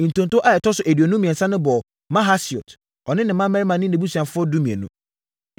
Ntonto a ɛtɔ so aduonu mmiɛnsa no bɔɔ Mahasiot, ɔne ne mmammarima ne nʼabusuafoɔ (12)